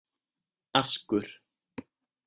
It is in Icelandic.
Askur